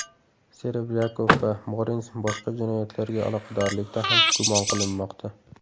Serebryakov va Morens boshqa jinoyatlarga aloqadorlikda ham gumon qilinmoqda.